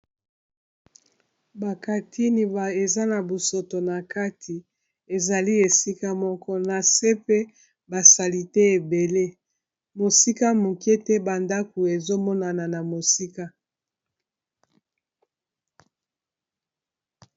bakatini eza na bosoto na kati ezali esika moko na se mpe basali te ebele mosika moke te bandako ezomonana na mosika